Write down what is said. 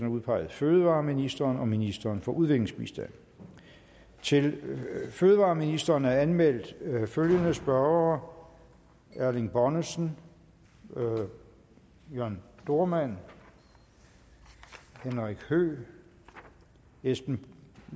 udpeget fødevareministeren og ministeren for udviklingsbistand til fødevareministeren er anmeldt følgende spørgere erling bonnesen jørn dohrmann henrik høegh esben